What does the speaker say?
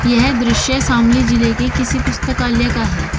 यह दृश्य शामली जिले के किसी पुस्तकालय का है।